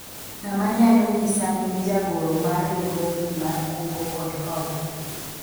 ng'ama nyalao nyisa nying jagoro mar riwruogni mar kungo kod hola ?